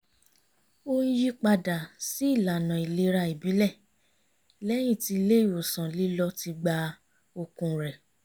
ó ń yí padà sí ìlànà ìlera ìbílẹ̀ lẹ́yìn tí ilé ìwòsàn lílọ ti gba okun rẹ̀